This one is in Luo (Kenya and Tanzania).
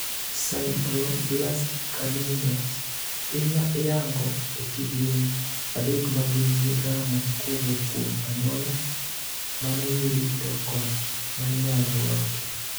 Sideroblastic anemias iyango ekidieny adek magin:migamo kowuok kuom anyuola, manoyudi to kod mainyalo loki.